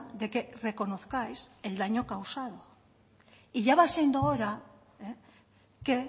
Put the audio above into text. de que reconozcáis el daño causado y ya va siendo hora que